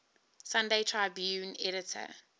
sunday tribune editor